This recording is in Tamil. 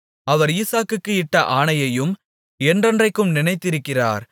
அவர் ஈசாக்குக்கு இட்ட ஆணையையும் என்றென்றைக்கும் நினைத்திருக்கிறார்